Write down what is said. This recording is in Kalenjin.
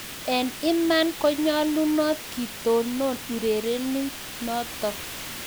Eng imaan konyaluunat kitonoon urerionitok